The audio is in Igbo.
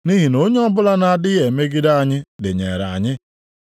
Nʼihi na onye ọbụla na-adịghị emegide anyị dịnyeere anyị.